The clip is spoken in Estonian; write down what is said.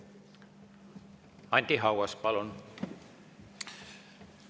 Anti Haugas, palun!